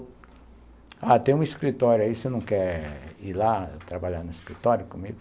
Ah, tem um escritório aí, você não quer ir lá trabalhar no escritório comigo?